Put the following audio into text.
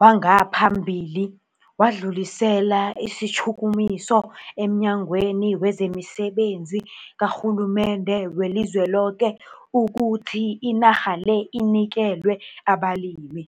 wangapha mbilini wadlulisela isitjhukumiso emNyangweni wezemiSebenzi kaRhulu mende weliZweloke ukuthi inarha le inikelwe abalimi.